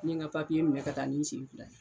N ye ŋa minɛ ka taa ni n sen fila ye.